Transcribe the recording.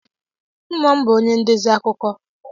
Nna m bụ onye ndezi akụkọ.